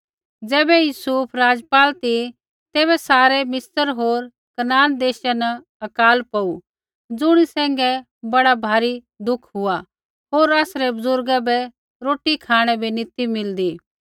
ज़ैबै यूसुफ राज़पाल ती तैबै सारै मिस्र होर कनान देशा न अकाल पौऊ ज़ुणी सैंघै बड़ा भारी दुख हुआ होर आसरै बुज़ुर्गा बै रोटी खाँणै बै नी ती मिलदी